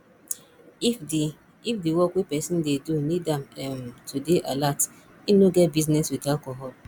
if di if di work wey person dey do need am um to dey alert im no get business with alcohol